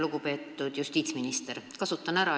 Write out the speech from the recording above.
Lugupeetud justiitsminister!